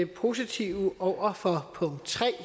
positive over for punkt tre